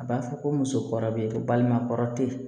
A b'a fɔ ko musokɔrɔba bɛ yen balima kɔrɔ tɛ yen